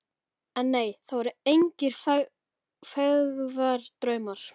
En nei, það voru engir feigðardraumar.